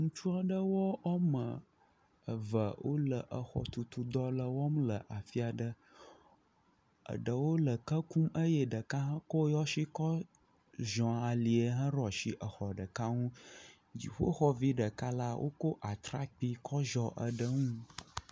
Ŋutsu ɖe woame eve wole exɔtutu dɔ le wɔm le afi aɖe, eɖewo le eke kum eye ɖeka hã kɔ eƒe asi kɔ ziɔ alie heɖɔ asi exɔ ɖeka ŋu. Dziƒoxɔ vi ɖeka la, wokɔ atrakpui kɔ ziɔ eɖe eŋu.